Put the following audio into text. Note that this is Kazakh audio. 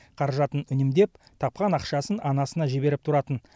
қаражатын үнемдеп тапқан ақшасын анасына жіберіп тұратын